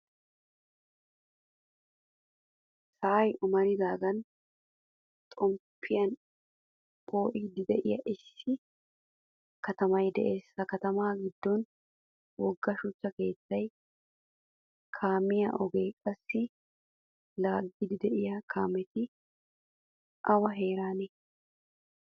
Sa'ay omaridagan xomppiyan phoolidi deiya issi katammay de'ees. Ha katam giddon wogga shuchcha keettay kaamiyaa ogee qassi laagidi deiyo kaametti awa heeranne?